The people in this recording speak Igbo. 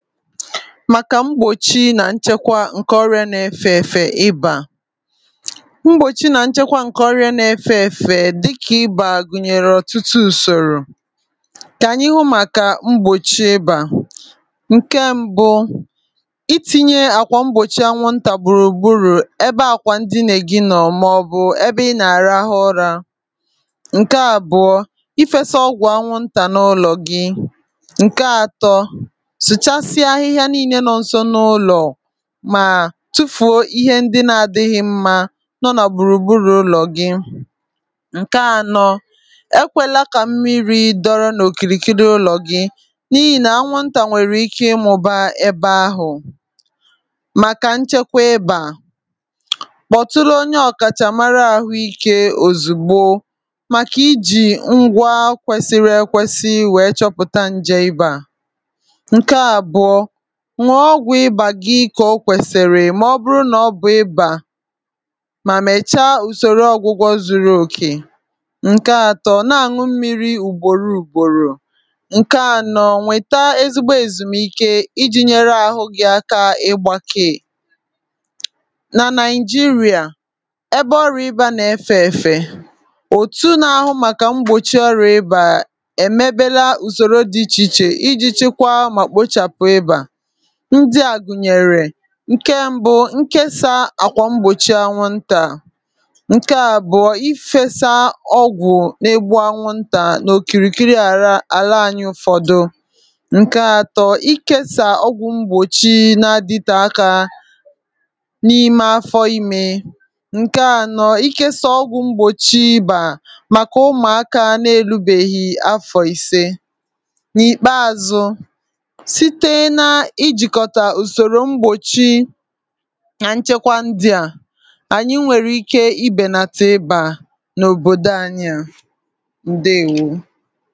Màkà mgbòchi nà nchekwa ǹkè ọrịa n’efè efè ịbà mgbòchi nà nchekwa ǹkè ọrịa n’efè efè dịkà ịbà gùnyèrè ọ̀tụtụ ùsòrò kà ànyị hụ màkà mgbòchi ịbà ǹke m̀bụ, itinye àkwà mgbòchi anwùntà gbùrù gbùrù ebe àkwà ndí nègi nọ̀ màọbụ̀ ebe ị nà-àrahụ ụra. ǹke àbụ̀ọ, ị fèsà ọgwụ̀ anwùntà n’ụlọ̀ gị. ǹke atọ, sàchàsịa ahìhìá nìíle nọ nso n’ụlọ, mà tufùo ihe ndí na-adịghị̇ mmȧ nọ nà gbùrùgbùrù ụlọ̀ gị. ǹke ànọ̇, èkwéla kà mmìrì dọrọ n’òkìrìkìrí ụlọ̀ gị, n’ihì nà anwùntà nwèrè ike ịmụ̇ba ebe ahụ̀ Màkà nchekwa ịbà kpọ̀tule onye ọ̀kàchàmàrà àhụ́ikè ozùgbò màkà ìjì ngwa kwesìrì ekwèsì wèe chọpụ̀tà ǹjè ịbà ǹke àbùọ, ṅụọ ọgwụ̀ ịbà gị kà o kwèsìrì mà ọ bụrụ nà ọ bụ ịbà mà mèchaa ùsòrò ọ̀gwụgwọ zuru òkè ǹkè atọ, ṅụọ mmìrì ùgbòro ùgbòrò ǹke ànọ̇, nwèta ezigbo èzùmìkè iji̇ nyere àhụ́ gị̀ aka ègbakèè Na Nàịjíríà ebe ọrịa ịbà nà efè èfè, òtù nà ahụ̀ màkà mgbòchi ọrịa ịbà èmebèla ùsòrò dị iche iche iji̇ chikwàá mà kpochàpụ ịbà, ndìa gùnyèrè ǹkè m̀bụ, ǹkèsà àkwà mgbòchi anwùntà ǹkè àbụọ, ìfèsà ọgwụ̀ n’egbu anwùntà nà òkìrìkìrí àlà ànyị ǹkè atọ̀, ǹkèsà ọgwụ̀ mgbòchi na-adìte akà n’ime afọ ìmè ǹkè ànọ̇, ǹkèsà ọgwụ̀ mgbòchi ịbà màkà ụmụ̀akà na-erùbéghì afọ̀ ìsìe nà ìkpèazụ sị̀te nà ìjikòtà ùsòrò mgbòchi nà nchekwa ndí a ànyị nwèrè ike ìbènàtà ịbà n’òbòdò ànyị ǹdèèwó.